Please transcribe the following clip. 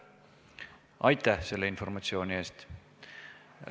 Aitäh selle informatsiooni eest!